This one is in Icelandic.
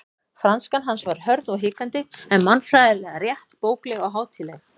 Franskan hans var hörð og hikandi en málfræðilega rétt, bókleg og hátíðleg.